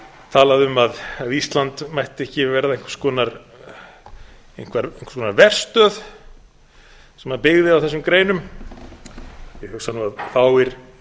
talaði um að ísland mætti ekki verða einhvers konar verstöð sem byggði á þessum greinum ég hugsa nú að fáir